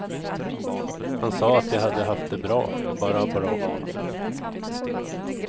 Han sa att de hade haft det bra, bara bra.